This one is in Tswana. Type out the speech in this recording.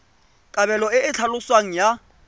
kabelo e e tlhaloswang ya